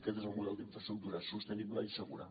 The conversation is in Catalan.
aquest és el model d’infraestructura sostenible i segura